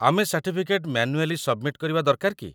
ଆମେ certificate manually submit କରିବା ଦରକାର କି ?